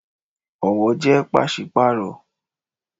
Ọwọ jẹ pási-paaro